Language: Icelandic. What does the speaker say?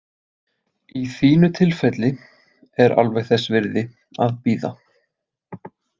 Í þínu tilfelli er alveg þess virði að bíða